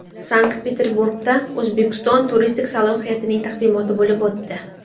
Sankt-Peterburgda O‘zbekiston turistik salohiyatining taqdimoti bo‘lib o‘tdi.